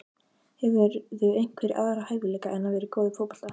Hefurðu einhverja aðra hæfileika en að vera góð í fótbolta?